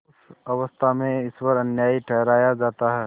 उस अवस्था में ईश्वर अन्यायी ठहराया जाता है